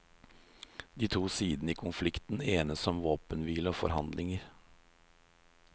De to sidene i konflikten enes om våpenhvile og forhandlinger.